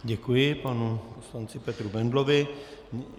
Děkuji panu poslanci Petru Bendlovi.